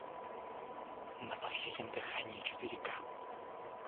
на последнем дыхании четыре ка